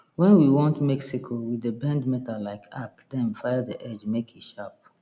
wen we want make sickle we dey bend metal like arc then file the edge make e sharp